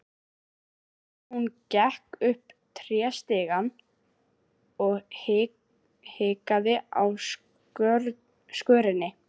Hún gekk upp tréstigann og hikaði á skörinni.